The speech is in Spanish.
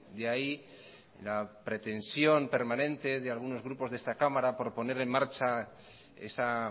de ahí la pretensión permanente de algunos grupos de esta cámara por poner en marcha esa